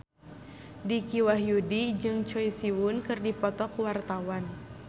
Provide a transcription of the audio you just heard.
Dicky Wahyudi jeung Choi Siwon keur dipoto ku wartawan